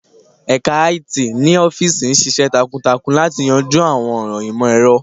Ẹka IT ni ọfiisi ṣiṣẹ takuntakun lati yanju awọn ọran imọ-ẹrọ.